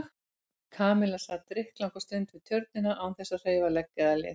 Kamilla sat drykklanga stund við Tjörnina án þess að hreyfa legg eða lið.